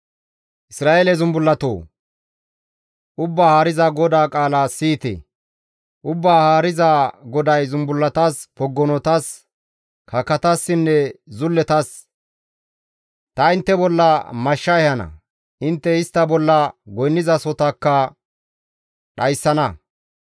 ‹Isra7eele zumbullatoo! Ubbaa Haariza GODAA qaala siyite! Ubbaa Haariza GODAY zumbullatas, poggonotas, kakatassinne zulletas: ta intte bolla mashsha ehana; intte istta bolla goynnizasohotakka dhayssana.